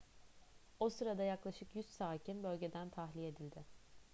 o sırada yaklaşık 100 sakin bölgeden tahliye edildi